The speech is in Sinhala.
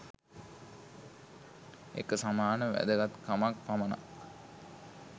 එක සමාන වැදගත්කමක් පමණක්